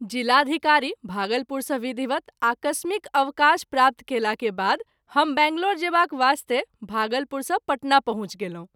ज़िलाधिकारी, भागलपुर सँ विधिवत आकस्मिक अवकाश प्राप्त कएला के बाद हम बंगलौर जेबाक वास्ते भागलपुर सँ पटना पहुँच गेलहुँ।